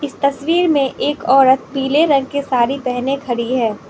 तस्वीर में एक औरत पीले रंग की साड़ी पेहने खड़ी है।